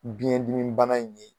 Biɲɛ dimi bana in ye